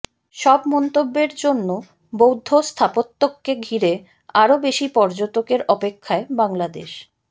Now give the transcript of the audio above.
সব মন্তব্যের জন্য বৌদ্ধ স্থাপত্যকে ঘিরে আরো বেশি পর্যটকের অপেক্ষায় বাংলাদেশ